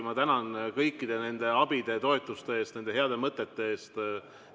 Ma tänan kõikide nende abide ja toetuste eest, nende heade mõtete eest!